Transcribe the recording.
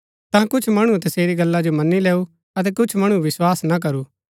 ता कुछ मणुऐ तसेरी गल्ला जो मनी लैऊ अतै कुछ मणुऐ विस्वास ना करू